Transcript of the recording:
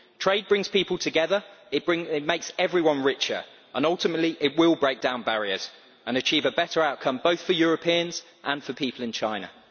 Trade brings people together, it makes everyone richer and, ultimately, it will break down barriers and achieve a better outcome, both for Europeans and for people in China.